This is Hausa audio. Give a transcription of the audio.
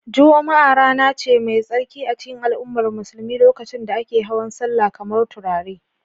Juma'a rana ce mai tsarki a cikin al'ummar musulmi lokacin da ake hawan sallah kamar turare